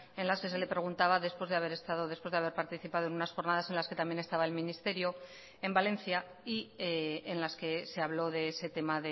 en las que se le preguntaba después de haber estado después de haber participado en unas jornadas en las que también estaba el ministerio en valencia y en las que se habló de ese tema